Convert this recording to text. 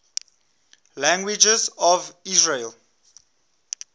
languages of israel